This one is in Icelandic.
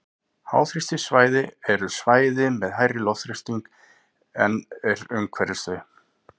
háþrýstisvæði eru svæði með hærri loftþrýsting en er umhverfis þau